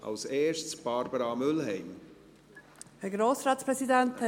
Als Erstes gebe ich Barbara Mühlheim das Wort.